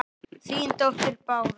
Þín dóttir Bára.